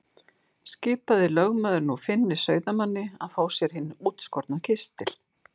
Skipaði lögmaður nú Finni sauðamanni að fá sér hinn útskorna kistil.